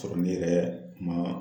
Sɔrɔ ne yɛrɛ ma